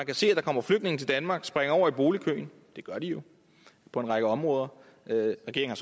kan se at der kommer flygtninge til danmark som springer over i boligkøen det gør de jo på en række områder og regeringen